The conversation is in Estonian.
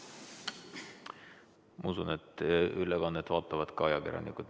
Ma usun, et ülekannet vaatavad ka ajakirjanikud.